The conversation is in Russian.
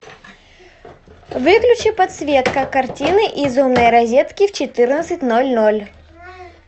выключи подсветка картины из умной розетки в четырнадцать ноль ноль